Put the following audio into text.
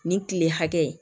Nin kile hakɛ